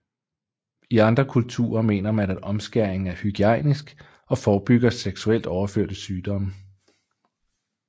I andre kulturer mener man at omskæring er hygiejnisk og forebygger seksuelt overførte sygdomme